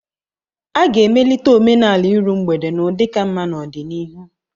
A ga-emelite omenala iru mgbede n'ụdị ka mma n'ọdịnihu